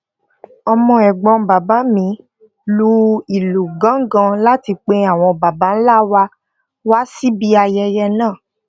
ọmọ ègbón bàbá mi lu ìlù gángan láti pe àwọn baba ńlá wa wá síbi ayẹyẹ náà